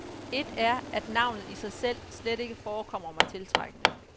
Et er, at navnet i sig selv slet ikke forekommer mig tiltrækkende.